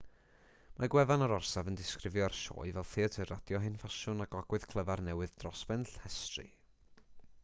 mae gwefan yr orsaf yn disgrifio'r sioe fel theatr radio hen ffasiwn â gogwydd clyfar newydd dros ben llestri